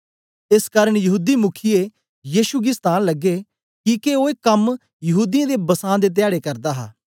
एस कारन यहूदी मुख्ये यीशु गी सतान लगे किके ओ ए कम्म यहूदीयें दे बसां दे ध्याडे करदा हा